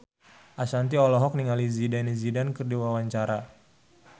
Ashanti olohok ningali Zidane Zidane keur diwawancara